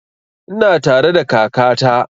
Ina tare da kaka ta